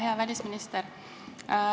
Hea välisminister!